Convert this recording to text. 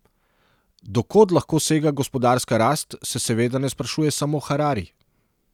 Do kod lahko sega gospodarska rast, se seveda ne sprašuje samo Harari.